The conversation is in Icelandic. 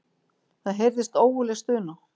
Það heyrðist ógurleg stuna.